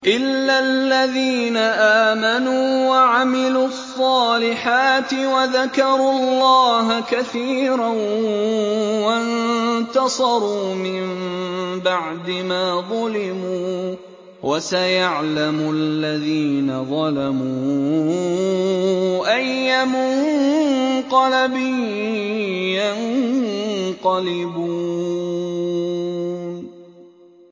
إِلَّا الَّذِينَ آمَنُوا وَعَمِلُوا الصَّالِحَاتِ وَذَكَرُوا اللَّهَ كَثِيرًا وَانتَصَرُوا مِن بَعْدِ مَا ظُلِمُوا ۗ وَسَيَعْلَمُ الَّذِينَ ظَلَمُوا أَيَّ مُنقَلَبٍ يَنقَلِبُونَ